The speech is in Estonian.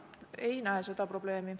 Ei näe seda probleemi.